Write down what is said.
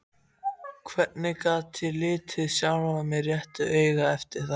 Hvernig gat ég litið sjálfan mig réttu auga eftir það?